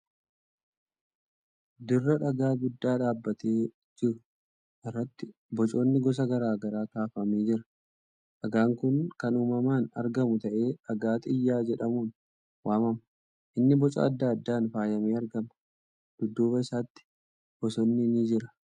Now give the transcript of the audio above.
Dirra dhagaa guddaa dhaabatee jiru irratti bocoonni gosa gara garaa kaafamee jira. Dhagaan kun kan uumamaan argamuu ta'ee dhagaa xiyyaa jedhamuun waamama. Inni boca adda addaan faayamee argamaa. Dudduuba isaatti bosonni ni jira.